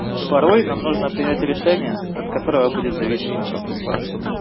порой нам нужно принять решение от которого будет зависеть наша судьба